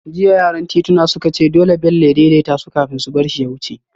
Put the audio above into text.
Jiya yaran tituna suka ce dole Bello ya daidaita su kafin su bar shi ya wuce